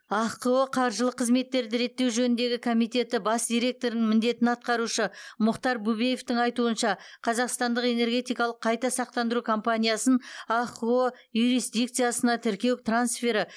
ахқо қаржылық қызметтерді реттеу жөніндегі комитеті бас директорының міндетін атқарушы мұхтар бубеевтың айтуынша қазақстандық энергетикалық қайта сақтандыру компаниясын ахқо юрисдикциясына тіркеу трансфері